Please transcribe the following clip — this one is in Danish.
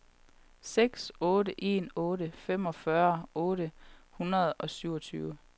seks otte en otte femogfyrre otte hundrede og syvogtyve